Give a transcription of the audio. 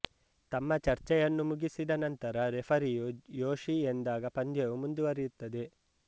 ತಮ್ಮ ಚರ್ಚೆಯನ್ನು ಮುಗಿಸಿದ ನಂತರ ರೆಫರಿಯು ಯೋಶಿ ಎಂದಾಗ ಪಂದ್ಯವು ಮುಂದುವರಿಯುತ್ತದೆ